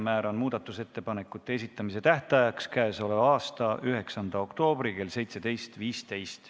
Määran muudatusettepanekute esitamise tähtajaks k.a 9. oktoobri kell 17.15.